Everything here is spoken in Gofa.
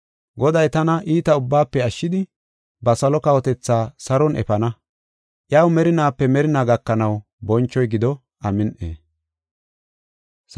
Goday tana iita ubbaafe ashshidi ba salo kawotetha saron efana. Iyaw merinaape merinaa gakanaw bonchoy gido. Amin7i.